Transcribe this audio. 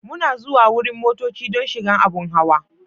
Muna zuwan wurin motocci don shigan abun hawa.